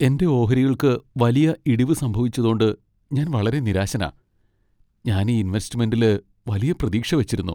എന്റെ ഓഹരികൾക്ക് വലിയ ഇടിവ് സംഭവിച്ചതോണ്ട് ഞാൻ വളരെ നിരാശനാ. ഞാൻ ഈ ഇൻവെസ്റ്റ്മെന്റില് വലിയ പ്രതീക്ഷ വച്ചിരുന്നു.